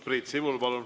Priit Sibul, palun!